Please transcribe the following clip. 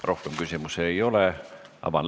Ma loen siit: "Keelseaduse paragrahvis 32 asendatakse arv ...